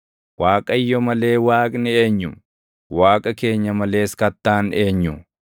Waaqayyo malee Waaqni eenyu? Waaqa keenya malees kattaan eenyu?